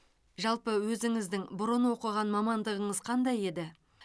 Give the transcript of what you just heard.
жалпы өзіңіздің бұрын оқыған мамандығыңыз қандай еді